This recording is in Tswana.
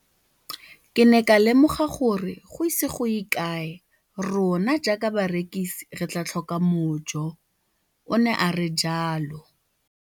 Ke ne ka lemoga gore go ise go ye kae rona jaaka barekise re tla tlhoka mojo, o ne a re jalo.